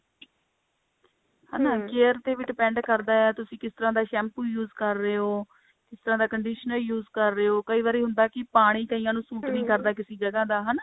ਹਨਾ care ਤੇ ਵੀ depend ਕਰਦਾ ਆ ਤੁਸੀਂ ਕਿਸ ਤਰ੍ਹਾਂ ਦਾ shampoo use ਕਰ ਰਹੇ ਹੋ ਕਿਸ ਤਰ੍ਹਾਂ ਦਾ conditioner use ਕਰ ਰਹੇ ਹੋ ਕਈ ਵਾਰੀ ਹੁੰਦਾ ਹੈ ਕਿ ਪਾਣੀ ਕਈਆਂ ਨੂੰ ਸੂਟ ਨੀ ਕਰਦਾ